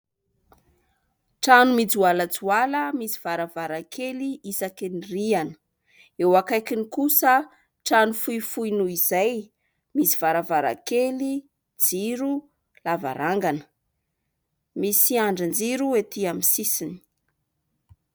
Trano mijoalajoala : misy varavarankely isaky ny rihana, eo akaikiny kosa trano fohifohy noho izay : misy varavarankely jiro, lavarangana, misy andrin-jiro etỳ amin'ny sisiny